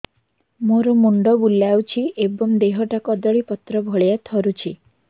ମୋର ମୁଣ୍ଡ ବୁଲାଉଛି ଏବଂ ଦେହଟା କଦଳୀପତ୍ର ଭଳିଆ ଥରୁଛି